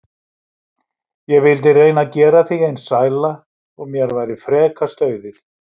Ég vildi reyna að gera þig eins sæla og mér væri frekast auðið.